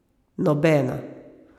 Nobena.